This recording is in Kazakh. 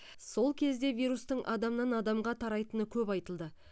сол кезде вирустың адамнан адамға тарайтыны көп айтылды